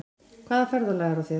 Hvaða ferðalag er á þér?